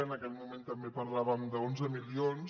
en aquell moment també parlàvem d’onze milions